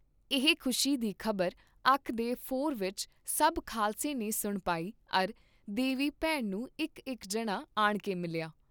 ਇਹ ਖੁਸ਼ੀ ਦੀ ਖ਼ਬਰ ਅੱਖ ਦੇ ਫੋਰ ਵਿਚ ਸਭ ਖਾਲਸੇ ਨੇ ਸੁਣ ਪਾਈ ਅਰ ਦੇ ਵੀ ਭੈਣ ਨੂੰ ਇਕ ਇਕ ਜਣਾ ਆਣਕੇ ਮਿਲਿਆ।